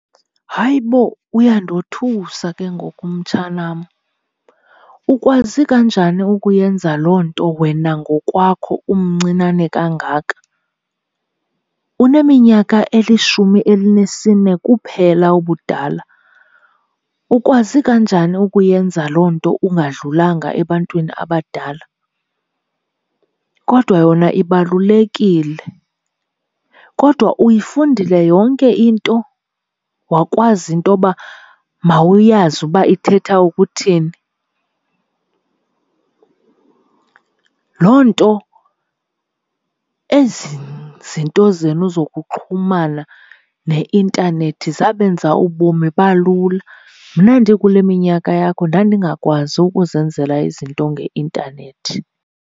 Hayi bo uyandothusa ke ngoku mtshanam. Ukwazi kanjani ukuyenza loo nto wena ngokwakho umncinane kangaka? Uneminyaka elishumi elinesine kuphela ubudala. Ukwazi kanjani ukuyenza loo nto ungadlulanga ebantwini abadala? Kodwa yona ibalulekile. Kodwa uyifundile yonke into wakwazi intoba mawuyazi uba ithetha ukuthini? Loo nto ezi zinto zenu zokuxhumana ne-intanethi zabenza ubomi balula mna ndikule minyaka yakho ndandingakwazi ukuzenzela izinto nge-intanethi.